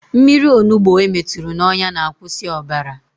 Mmiri onugbo emeturu n'ọnya na-akwụsị ọbara